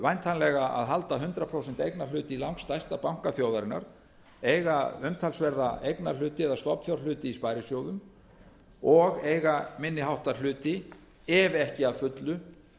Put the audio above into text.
væntanlega að halda hundrað prósent eignarhlut í langstærsta banka þjóðarinnar eiga umtalsverða eignarhluti eða stofnfjárhluti eða stofnfjárhluti í sparisjóðum og eiga minni háttar hluti ef ekki að fullu